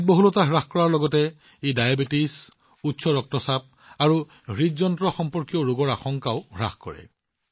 মেদবহুলতা হ্ৰাস কৰাৰ লগতে ই ডায়েবেটিচ উচ্চ ৰক্তচাপ আৰু হৃদযন্ত্ৰ সম্পৰ্কীয় ৰোগৰ আশংকা হ্ৰাস কৰে